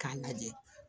K'a lajɛ